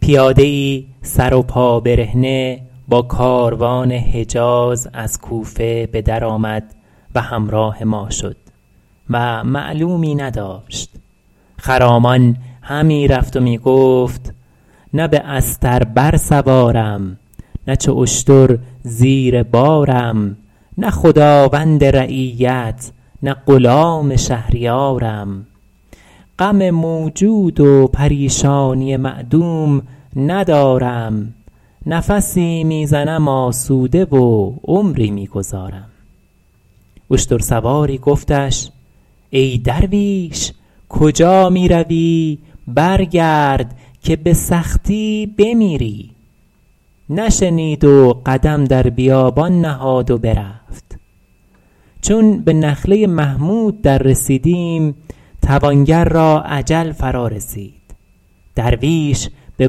پیاده ای سر و پا برهنه با کاروان حجاز از کوفه به در آمد و همراه ما شد و معلومی نداشت خرامان همی رفت و می گفت نه به استر بر سوارم نه چو اشتر زیر بارم نه خداوند رعیت نه غلام شهریارم غم موجود و پریشانی معدوم ندارم نفسی می زنم آسوده و عمری می گذارم اشتر سواری گفتش ای درویش کجا می روی برگرد که به سختی بمیری نشنید و قدم در بیابان نهاد و برفت چون به نخله محمود در رسیدیم توانگر را اجل فرا رسید درویش به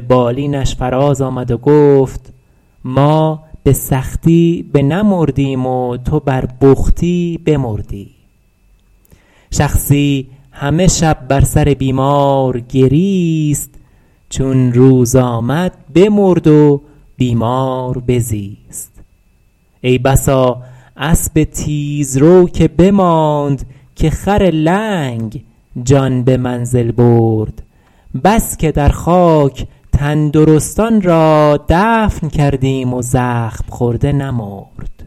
بالینش فراز آمد و گفت ما به سختی بنمردیم و تو بر بختی بمردی شخصی همه شب بر سر بیمار گریست چون روز بشد بمرد و بیمار بزیست ای بسا اسب تیزرو که بماند که خر لنگ جان به منزل برد بس که در خاک تندرستان را دفن کردیم و زخم خورده نمرد